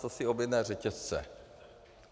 Co si objednají řetězce.